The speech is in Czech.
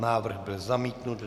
Návrh byl zamítnut.